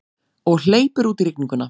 Og hleypur út í rigninguna.